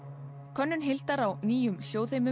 könnun Hildar á nýjum